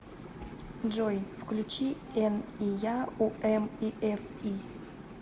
джой включи эн и я у эм и эф и